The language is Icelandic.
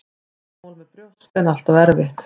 Vandamál með brjósk er alltaf erfitt.